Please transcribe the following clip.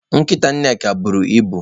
Nkita Nneka buru ibu.